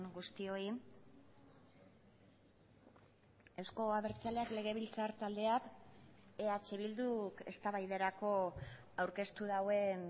guztioi euzko abertzaleak legebiltzar taldeak eh bilduk eztabaidarako aurkeztu duen